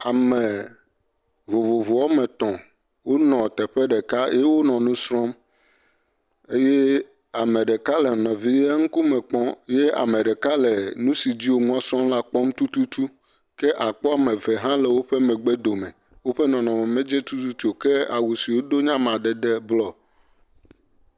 Ame vovovo woame tɔ̃, wonɔ teƒe ɖeka eye wo nu srɔ̃m eye ame ɖeka le nɔvia ŋkume kpɔm eye ame ɖeka le nu si dzi wo nua srɔ̃m la kpɔm tututu. Ke àkpɔ ame eve hã le woƒe megbe dome, woƒe ŋkume medze tututu o, ke awu si wodo nye amadede blɔ.